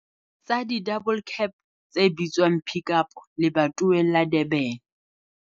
tsa di-double cab tse bitswang Pik Up lebatoweng la Durban.